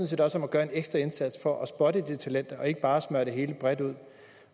set også om at gøre en ekstra indsats for at spotte de talenter og ikke bare smøre det hele bredt ud